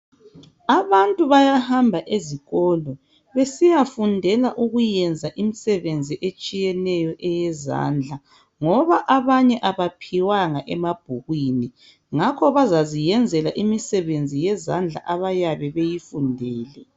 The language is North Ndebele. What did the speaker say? Abantu bayahamba ezikolo besiyafundela ukuyenza imisebenzi etshiyeneyo eyezandla ngoba abanye abaphiwanga emabhukwini, ngakho bazaziyenzela imisebenzi yezandla abayabe beyifundile.